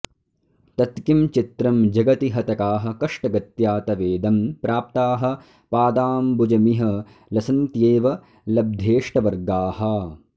तत्किं चित्रं जगति हतकाः कष्टगत्या तवेदं प्राप्ताः पादाम्बुजमिह लसन्त्येव लब्धेष्टवर्गाः